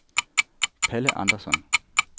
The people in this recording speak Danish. Palle Andersson